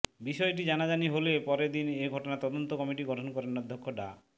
বিষয়টি জানাজানি হলে পরদিন এ ঘটনায় তদন্ত কমিটি গঠন করেন অধ্যক্ষ ডা